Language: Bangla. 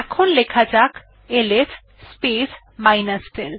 এখন লেখা যাক এলএস স্পেস l